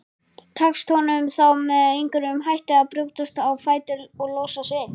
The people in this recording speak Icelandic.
Tekst honum þá með einhverjum hætti að brjótast á fætur og losa sig.